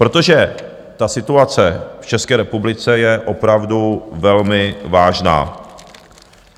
Protože ta situace v České republice je opravdu velmi vážná.